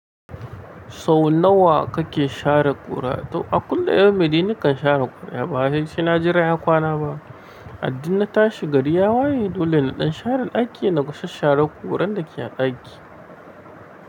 Sau nawa kake share ƙura? To a kullum dai mai ni kan share ƙura. Ba wai saina jira ya kwana ba. A duk na tashi gari ya waye dole na ɗan share ɗaki na sashshare ƙuran da ke a ɗaki.